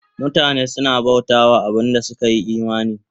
Mutane suna bauta wa abin da suka yi imani